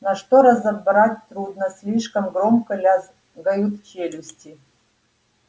но что разобрать трудно слишком громко лязгают челюсти